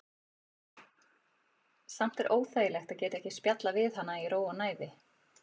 Samt er óþægilegt að geta ekki spjallað við hana í ró og næði.